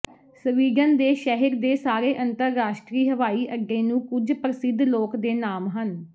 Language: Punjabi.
ਸਵੀਡਨ ਦੇ ਸ਼ਹਿਰ ਦੇ ਸਾਰੇ ਅੰਤਰਰਾਸ਼ਟਰੀ ਹਵਾਈ ਅੱਡੇ ਨੂੰ ਕੁਝ ਪ੍ਰਸਿੱਧ ਲੋਕ ਦੇ ਨਾਮ ਹਨ